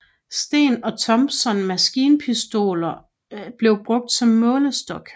Sten og Thompson maskinpistoner blev brugt som målestok